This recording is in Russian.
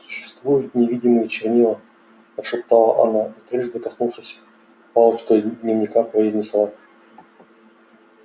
существуют невидимые чернила прошептала она и трижды коснувшись палочкой дневника произнесла